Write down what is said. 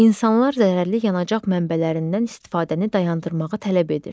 İnsanlar zərərli yanacaq mənbələrindən istifadəni dayandırmağı tələb edir.